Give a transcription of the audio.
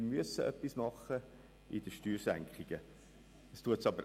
Wir müssen etwas für die Steuersenkungen unternehmen.